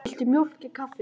Viltu mjólk í kaffið?